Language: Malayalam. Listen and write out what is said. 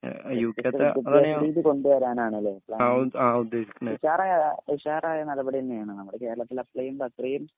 കൊണ്ടുവരാനാണല്ലേ പ്ലാന്. ഉഷാറ് ഉഷാറായ നടപടി തന്നെയാണ് നമ്മുടെ കേരളത്തിൽ അപ്ലൈ ചെയ്യുമ്പോ അത്രയും